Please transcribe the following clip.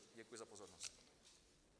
Děkuji za pozornost.